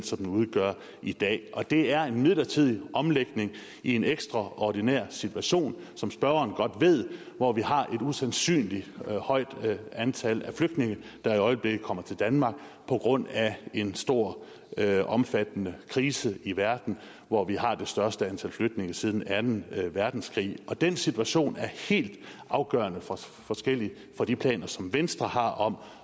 som den udgør i dag og det er en midlertidig omlægning i en ekstraordinær situation som spørgeren godt ved hvor vi har et usandsynligt højt antal flygtninge der i øjeblikket kommer til danmark på grund af en stor omfattende krise i verden hvor vi har det største antal flygtninge siden anden verdenskrig og den situation er helt afgørende forskellig fra de planer som venstre har om